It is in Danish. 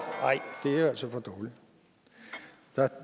så